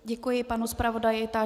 Děkuji panu zpravodaji.